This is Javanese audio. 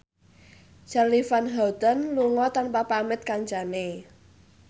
Charly Van Houten lunga tanpa pamit kancane